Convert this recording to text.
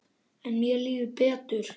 En mér líður betur.